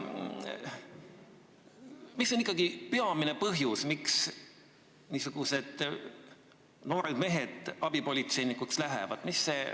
Mis on ikkagi peamine põhjus, miks noored mehed abipolitseinikuks lähevad?